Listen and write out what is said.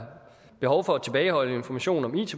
slut så